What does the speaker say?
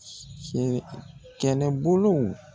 Kɛlɛbolo.